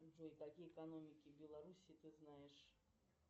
джой какие экономики белоруссии ты знаешь